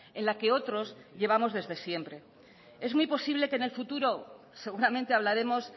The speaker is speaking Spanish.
en la que otros llevamos desde siempre es muy posible que en el futuro seguramente hablaremos